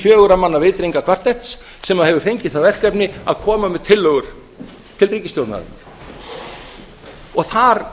fjögurra manna vitringakvartetts sem hefur fengið það verkefni að koma með tillögur til ríkisstjórnarinnar og þar